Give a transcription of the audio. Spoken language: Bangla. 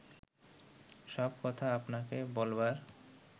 সব কথা আপনাকে বলবার